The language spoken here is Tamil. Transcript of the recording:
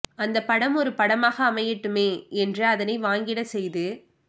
அந்த படம் ஒரு பாடமாக அமையட்டுமே என்று அதனை வாங்கி டப் செய்து